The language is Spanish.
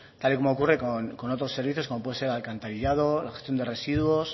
tal y como ocurre con otros puede ser el alcantarillado la gestión de residuos